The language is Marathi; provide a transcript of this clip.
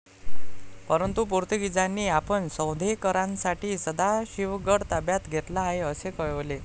परंतु पोर्तुगिजांनी आपण सौंधेकरांसाठी सदाशिवगड ताब्यात घेतला आहे असे कळवले.